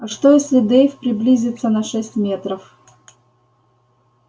а что если дейв приблизится на шесть метров